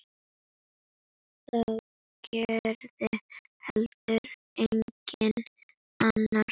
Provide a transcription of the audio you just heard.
Það gerði heldur enginn annar.